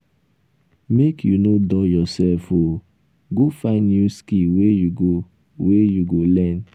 make you no dull yoursef o go find new skill wey you go wey you go learn.